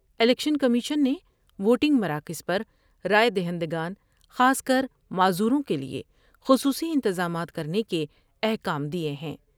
Election commission نے voting مراکز پر رائے دہندگان خاص کر معذوروں کے لئے خصوصی انتظامات کرنے کے احکام دیئے ہیں ۔